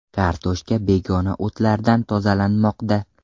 Kartoshka begona o‘tlardan tozalanmoqda.